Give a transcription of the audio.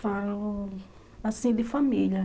Falo, assim, de família.